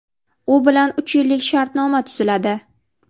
U bilan uch yillik shartnoma tuziladi.